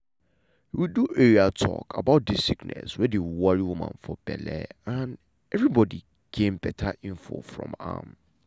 we do area talk about dis sickness wey dey worry woman for belle and everybodi gain beta info from am.